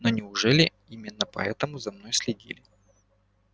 но неужели именно поэтому за мной следили